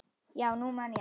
Já, nú man ég það.